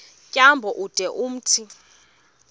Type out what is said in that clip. tyambo ude umthi